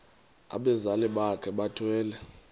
abazali bakhe bethwele